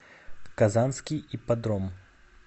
казанский ипподром